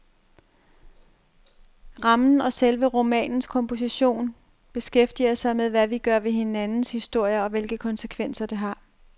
Rammen og selve romanens komposition beskæftiger sig med, hvad vi gør ved hinandens historier og hvilke konsekvenser, det har.